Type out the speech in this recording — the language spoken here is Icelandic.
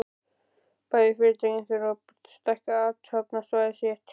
Bæði fyrirtækin þurftu að stækka athafnasvæði sitt.